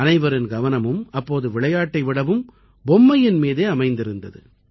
அனைவரின் கவனமும் அப்போது விளையாட்டை விடவும் பொம்மையின் மீதே அமைந்திருந்தது